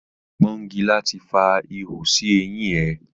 Pọ́ngilá ti fa ihò sí eyín ẹ.